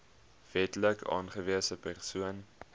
wetlik aangewese persoon